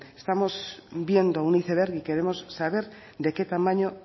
estamos viendo un iceberg y queremos saber de qué tamaño